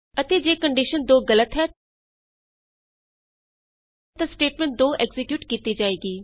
ਅਤੇ ਜੇ ਕੰਡੀਸ਼ਨ 2 ਗਲਤ ਹੈ ਤਾਂ ਸਟੇਟਮੈਂਟ 2 ਐਕਜ਼ੀਕਿਯੂਟ ਕੀਤੀ ਜਾਏਗੀ